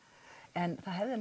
en það hefði